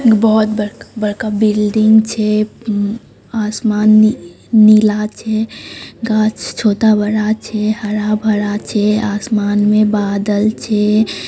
बहुत बड़-- बड़का बिल्डिंग छै आसमान नी-- नीला छै गाछ छोटा-बड़ा छै हरा-भरा छै आसमान में बादल छै।